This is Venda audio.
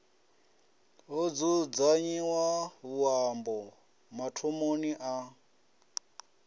ho dzudzanyiwa vhuṱambo mathomoni a